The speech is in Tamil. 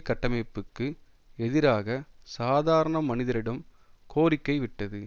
கட்டமைப்புக்கு எதிராக சாதாரண மனிதரிடம் கோரிக்கை விட்டது